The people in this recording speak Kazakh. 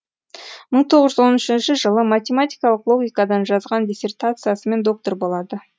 мың тоғыз жүз он үшінші жылы математикалық логикадан жазған диссертациясымен доктор болады